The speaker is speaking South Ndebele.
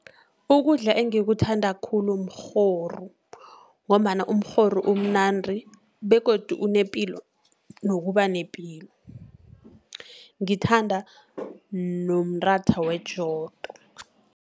Ukudla engikuthanda khulu umrhoru, ngombana umrhoru umnandi, begodu unepilo nokuba nepilo, ngithanda nomratha wejodo.